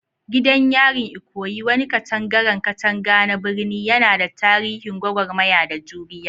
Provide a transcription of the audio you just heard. Gidan yarin Ikoyi, wani katangaren katanga na birni, yana da tarihin gwagwarmaya da juriya.